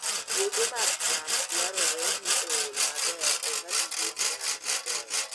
Puothe mag cham dwarore ni ool maber eka giyud nyak maber